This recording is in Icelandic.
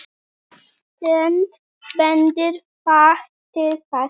Alltént bendir fátt til þess.